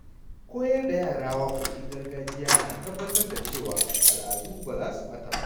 Koyar da yara waƙoƙin gargajiya na tabbatar da cewa al’adu ba za su ɓata ba.